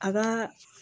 A ka